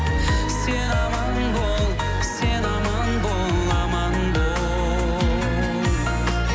сен аман бол сен аман бол аман бол